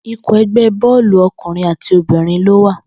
Ikọ̀ ẹgbẹ́ bọ́ọ̀lù ọkùnrin àti obìnrin ló wà